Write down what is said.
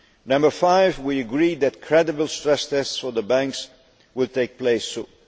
Number five we agreed that credible stress tests for the banks will take place soon.